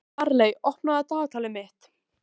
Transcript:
Marley, opnaðu dagatalið mitt.